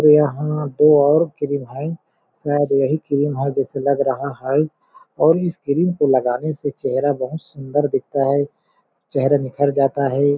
यहां दो और क्रीम है शायद यही क्रीम है जैसे लग रहा है और इस क्रीम को लगाने से चेहरा बहुत सुंदर दिखता है चेहरा निखर जाता है।